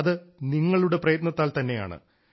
അത് നിങ്ങളുടെ പ്രയത്നത്താൽ തന്നെയാണ്